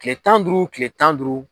Kile tan duuru kile tan duuru.